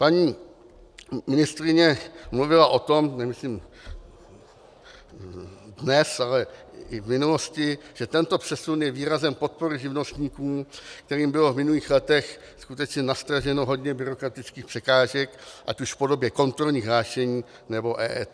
Paní ministryně mluvila o tom, nemyslím dnes, ale i v minulosti, že tento přesun je výrazem podpory živnostníků, kterým bylo v minulých letech skutečně nastraženo hodně byrokratických překážek ať už v podobě kontrolních hlášení, nebo EET.